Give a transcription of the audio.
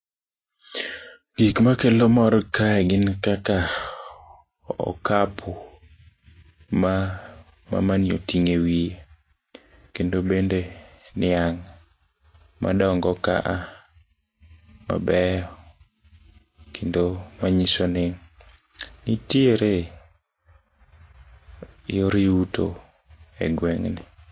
Gikma kelo mor kae gin kaka okapu ma mamani oting'o e wie, kendo bende niang' madongo kaa mabeyo kendo manyisoni nitiere yor yuto e gweng'ni.